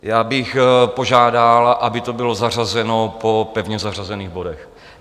Já bych požádal, aby to bylo zařazeno po pevně zařazených bodech.